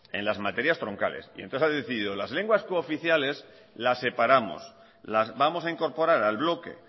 en las materias troncales y entonces ha decidido las lenguas cooficiales las separamos las vamos a incorporar al bloque